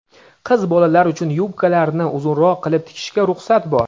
qiz bolalar uchun yubkalarni uzunroq qilib tikishga ruxsat bor.